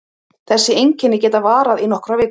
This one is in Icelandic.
Þessi einkenni geta varað í nokkrar vikur.